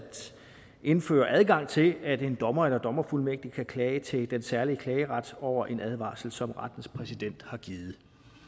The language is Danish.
indføre adgang til at en dommer eller dommerfuldmægtig kan klage til den særlige klageret over en advarsel som rettens præsident har givet